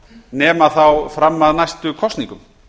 nema þá fram að næstu kosningum